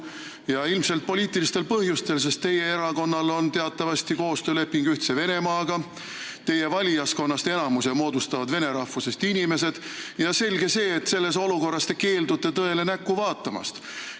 Ja ilmselt poliitilistel põhjustel, sest teie erakonnal on teatavasti koostööleping Ühtse Venemaaga, teie valijaskonnast enamuse moodustavad vene rahvusest inimesed ja selge see, et selles olukorras te keeldute tõele näkku vaatamast.